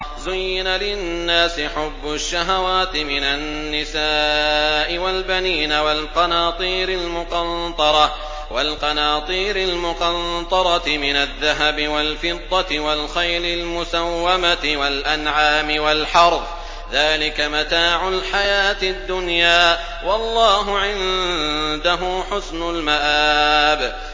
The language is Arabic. زُيِّنَ لِلنَّاسِ حُبُّ الشَّهَوَاتِ مِنَ النِّسَاءِ وَالْبَنِينَ وَالْقَنَاطِيرِ الْمُقَنطَرَةِ مِنَ الذَّهَبِ وَالْفِضَّةِ وَالْخَيْلِ الْمُسَوَّمَةِ وَالْأَنْعَامِ وَالْحَرْثِ ۗ ذَٰلِكَ مَتَاعُ الْحَيَاةِ الدُّنْيَا ۖ وَاللَّهُ عِندَهُ حُسْنُ الْمَآبِ